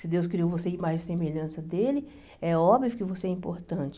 Se Deus criou você em imagem e semelhança dEle, é óbvio que você é importante.